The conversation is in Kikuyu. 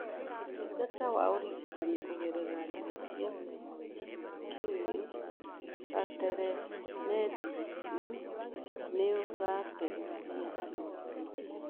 Ũtungata wa ũrigitani kũgerera njĩra cia kĩrĩũ , ta telemedicine, nĩ ũrateithia andũ aingĩ.